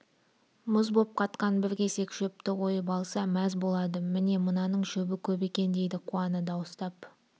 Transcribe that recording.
мұз боп қатқан бір кесек шөпті ойып алса мәз болады міне мынаның шөбі көп екен дейді қуана дауыстап